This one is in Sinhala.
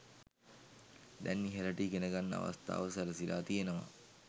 දැන් ඉහළට ඉගෙනගන්න අවස්ථාව සැලසිලා තියෙනවා.